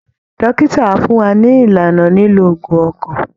Dókítà á fún wa ní ìlànà lílo òògùn ọkàn